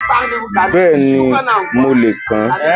Bẹ́ẹ̀ni, mo lè kà á